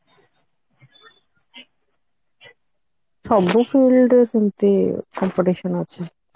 ସବୁ field ରେ ସେମିତି competition ଅଛି